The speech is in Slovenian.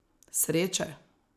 Sreče?